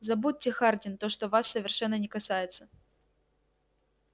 забудьте хардин то что вас совершенно не касается